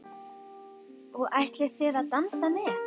Og ætlið þið að dansa með?